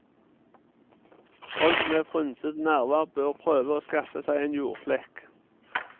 Folk med frynsede nerver bør prøve å skaffe seg en jordflekk.